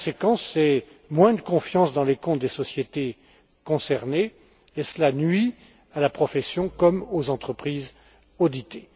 La conséquence, c'est moins de confiance dans les comptes des sociétés concernées, ce qui nuit à la profession comme aux entreprises auditées.